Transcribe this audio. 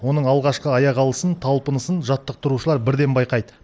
оның алғашқы аяқ алысын талпынысын жаттықтырушылар бірден байқайды